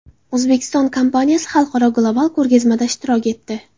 O‘zbekiston kompaniyasi xalqaro global ko‘rgazmada ishtirok etdi.